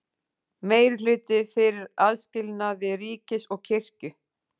Meirihluti fyrir aðskilnaði ríkis og kirkju